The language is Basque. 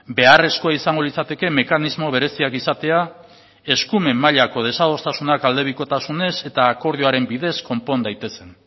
beharrezkoa izango litzateke mekanismo bereziak izatea eskumen mailako desadostasunak aldebikotasunez eta akordioaren bidez konpon daitezen